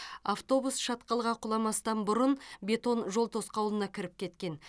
автобус шатқалға құламастан бұрын бетон жол тосқауылына кіріп кеткен